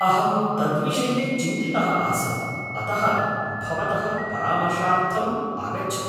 अहं तद्विषये चिन्तितः आसम्, अतः भवतः परामर्शार्थम् आगच्छम्।